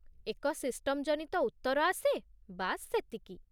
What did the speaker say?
ଏକ ସିଷ୍ଟମ୍ ଜନିତ ଉତ୍ତର ଆସେ, ବାସ୍ ସେତିକି।